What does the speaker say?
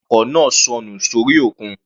Àwọn awakọ̀ náà sọnù sórí òkun.